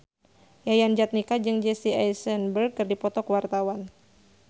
Yayan Jatnika jeung Jesse Eisenberg keur dipoto ku wartawan